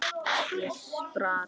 Ég spratt á fætur.